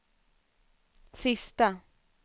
sista